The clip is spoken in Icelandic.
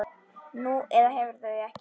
Nú eða hefur þau ekki.